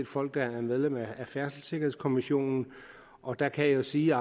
folk der er medlem af færdselssikkerhedskommissionen og der kan jeg jo sige